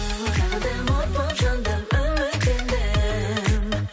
сағындым от боп жандым үміт ілдім